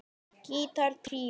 Gítar tríó